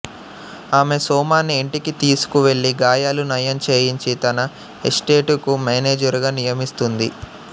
ఆమె సోమాన్ని ఇంటికి తీసుకు వెళ్ళి గాయాలు నయం చేయించి తన ఎస్టేటుకు మేనేజరుగా నియమిస్తుంది